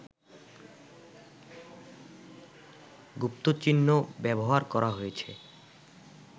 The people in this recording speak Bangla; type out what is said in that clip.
গুপ্তচিহ্ন ব্যবহার করা হয়েছে